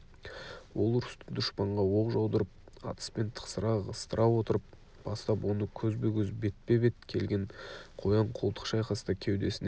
ол ұрысты дұшпанға оқ жаудырып атыспен тықсыра ығыстыра отырып бастап оны көзбе-көз бетпе бет келген қоян-қолтық шайқаста кеудесіне